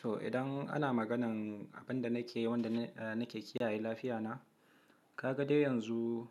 To idan ana maganan abin da nake yi, wanda nake kiyaye lafiya na, ka ga dai yanzu